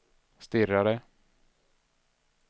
stirrade